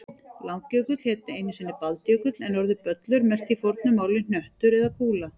Langjökull hét einu sinni Baldjökull en orðið böllur merkti í fornu máli hnöttur eða kúla.